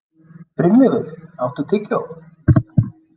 Brynleifur, áttu tyggjó?